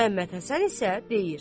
Məmmədhəsən isə deyir: